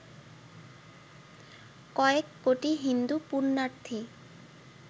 কয়েক কোটি হিন্দু পুণ্যার্থী